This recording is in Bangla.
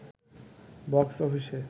বক্স অফিসে